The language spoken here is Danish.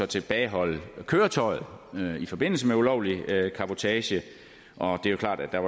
tilbageholde køretøjet i forbindelse med ulovlig cabotage og det er jo klart at der